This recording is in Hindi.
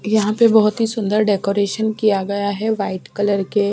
यहाँ पे बहुत ही सुंदर डेकोरेशन किया गया है वाइट कलर के --